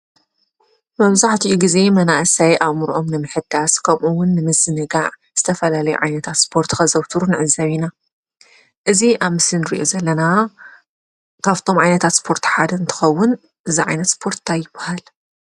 መበዛሕትኡ ግዜ መናእሰይ ኣእምሮኦም ንምሕዳስ ከምኡ ውን ንምዝንጋዕ ዝተፈላለየ ዓይነታት እስፖርቲ ከዘውትሩ ንዕዘብ ኢና፡፡ እዚ ኣብ ምስሊ ንሪኦ ዘለና ካፍቶም ዓይነታት እስፖርቲ ሓደ እንትኸውን እዚ ዓይነት እስፖርት እንታይ ይብሃል ?